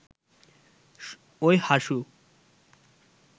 ওই হাসু